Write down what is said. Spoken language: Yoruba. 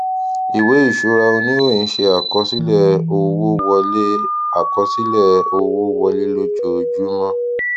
ìwé ìṣura oníròyìn ṣe àkọsílẹ owó wọlé àkọsílẹ owó wọlé lójoojúmó